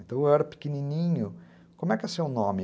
Então, eu era pequenininho, como é que é seu nome?